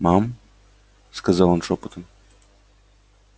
мам сказал он шёпотом